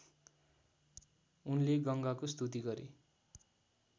उनले गङ्गाको स्तुति गरे